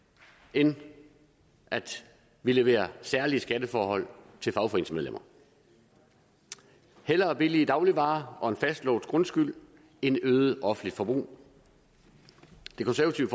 end at vi leverer særlige skatteforhold til fagforeningsmedlemmer hellere billige dagligvarer og en fastlåst grundskyld end øget offentligt forbrug det konservative